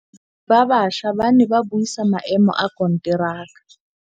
Badiri ba baša ba ne ba buisa maêmô a konteraka.